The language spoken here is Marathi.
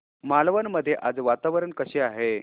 मालवण मध्ये आज वातावरण कसे आहे